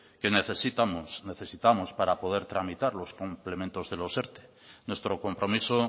que necesitamos necesitamos para poder tramitar los complementos de los erte nuestro compromiso